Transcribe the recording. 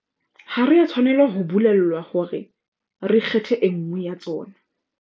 Ha re a tshwanela ho bolellwa hore re kgethe e nngwe ya tsona.